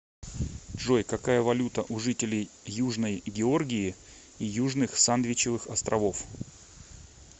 джой какая валюта у жителей южной георгии и южных сандвичевых островов